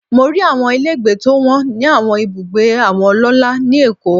Mo rí àwọn ilé gbé tó wọ́n ní àwọn ibùgbé àwọn ọlọ́lá ni Èkó.